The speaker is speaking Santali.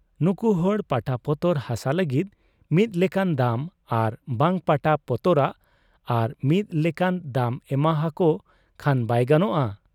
ᱱᱩᱠᱩᱦᱚᱲ ᱯᱟᱴᱟᱯᱚᱛᱚᱨ ᱦᱟᱥᱟ ᱞᱟᱹᱜᱤᱫ ᱢᱤᱫ ᱞᱮᱠᱟᱱ ᱫᱟᱢ ᱟᱨ ᱵᱟᱝ ᱯᱟᱴᱟ ᱯᱚᱛᱚᱨᱟᱜ ᱟᱨ ᱢᱤᱫ ᱞᱮᱠᱟᱱ ᱫᱟᱢ ᱮᱢᱟᱦᱟᱠᱚ ᱠᱷᱟᱱ ᱵᱟᱭ ᱜᱟᱱᱚᱜ ᱟ ?